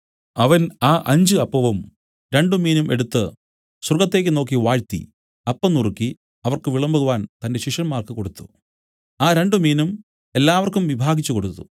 അവൻ ആ അഞ്ച് അപ്പവും രണ്ടുമീനും എടുത്തു സ്വർഗ്ഗത്തേക്ക് നോക്കി വാഴ്ത്തി അപ്പം നുറുക്കി അവർക്ക് വിളമ്പുവാൻ തന്റെ ശിഷ്യന്മാർക്ക് കൊടുത്തു ആ രണ്ടുമീനും എല്ലാവർക്കും വിഭാഗിച്ചു കൊടുത്തു